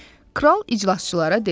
Kral iclasçılara dedi: